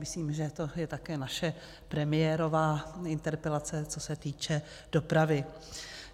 Myslím, že to je také naše premiérová interpelace, co se týče dopravy.